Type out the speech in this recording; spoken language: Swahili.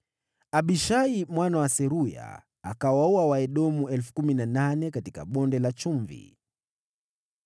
Abishai mwana wa Seruya akawaua Waedomu 18,000 katika Bonde la Chumvi.